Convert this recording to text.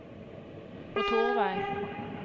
motorvei